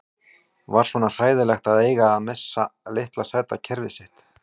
Var svona hræðilegt að eiga að missa litla sæta kerfið sitt?